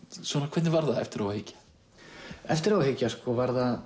hvernig var það eftir á að hyggja eftir á að hyggja var það